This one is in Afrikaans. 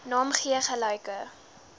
naam gee gelyke